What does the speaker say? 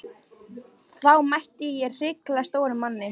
Þá mætti ég hrikalega stórum manni.